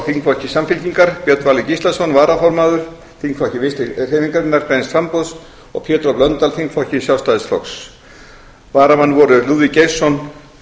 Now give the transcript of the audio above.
þingflokki samfylkingarinnar björn valur gíslason varaformaður þingflokki vinstri hreyfingarinnar græns framboðs og pétur h blöndal þingflokki sjálfstæðisflokks varamenn voru lúðvík geirsson